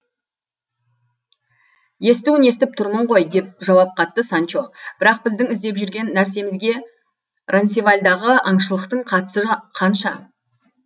естуін естіп тұрмын ғой деп жауап қатты санчо бірақ біздің іздеп жүрген нәрсемізге ронсевальдағы аңшылықтың қатысы қанша